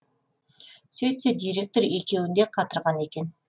сөйтсе директор екеуін де қатырған екен